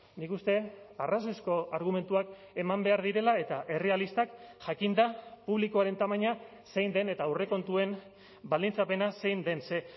nik uste dut arrazoizko argumentuak eman behar direla eta errealistak jakinda publikoaren tamaina zein den eta aurrekontuen baldintzapena zein den ze